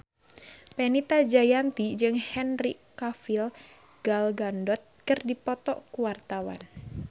Fenita Jayanti jeung Henry Cavill Gal Gadot keur dipoto ku wartawan